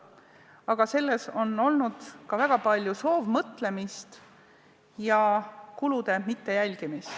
Aga selles on olnud väga palju soovmõtlemist ja kulude mittejälgimist.